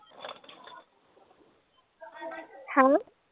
ਹੈਂ।